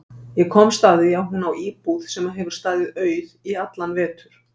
Ég komst að því að hún á íbúð sem hefur staðið auð í allan vetur.